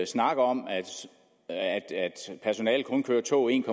snak om at personalet kun kører tog en